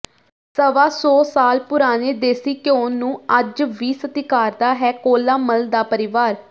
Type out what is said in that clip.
ਸਵਾ ਸੌ ਸਾਲ ਪੁਰਾਣੇ ਦੇਸ਼ੀ ਘਿਓ ਨੂੰ ਅੱਜ ਵੀ ਸਤਿਕਾਰਦਾ ਹੈ ਕੌਲਾ ਮੱਲ ਦਾ ਪਰਿਵਾਰ